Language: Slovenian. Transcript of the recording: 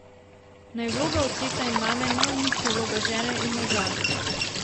Naj vloga očeta in mame ne uniči vloge žene in moža.